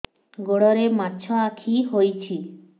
ଗୋଡ଼ରେ ମାଛଆଖି ହୋଇଛି